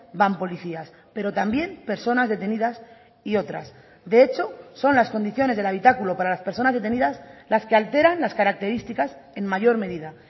van policías pero también personas detenidas y otras de hecho son las condiciones del habitáculo para las personas detenidas las que alteran las características en mayor medida